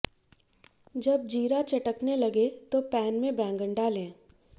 जब जीरा चटकने लगे तो पैन में बैंगन डालें